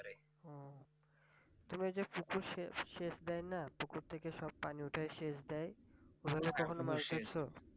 তবে ঐ যে পুকুর সে~সেচ দেয় না পুকুর থেকে সব পানি উঠায়ে সেচ দেয় ওভাবে কখনো মাছ ধরছ?